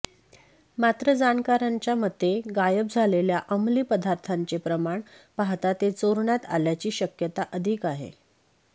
मात्र जाणकारांच्या मते गायब झालेल्या अंमली पदार्थाचे प्रमाण पाहता ते चोरण्यात आल्याची शक्यता अधिक आहे